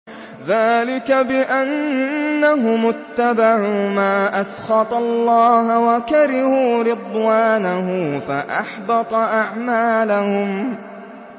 ذَٰلِكَ بِأَنَّهُمُ اتَّبَعُوا مَا أَسْخَطَ اللَّهَ وَكَرِهُوا رِضْوَانَهُ فَأَحْبَطَ أَعْمَالَهُمْ